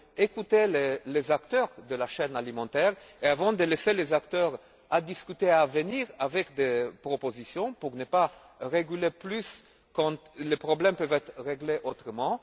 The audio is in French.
d'écouter les acteurs de la chaîne alimentaire et avant de laisser les acteurs discuter et venir avec des propositions, afin de ne pas réglementer plus quand les problèmes peuvent être réglés autrement.